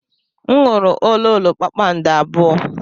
M ṅụrụ ololo kpakpando abụọ.